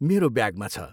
मेरो ब्यागमा छ।